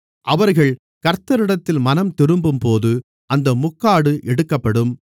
அவர்கள் கர்த்தரிடத்தில் மனம்திரும்பும்போது அந்த முக்காடு எடுக்கப்படும்